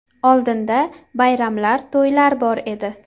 Oldinda bayramlar, to‘ylar bor edi.